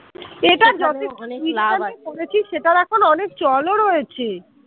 যেটা নিয়ে পড়েছিস সেটার এখন অনেক চল ও রয়েছে।